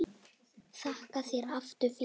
Þakka þér aftur fyrir.